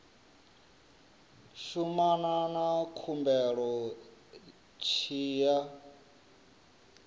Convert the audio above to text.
shumana na khumbelo tshi ya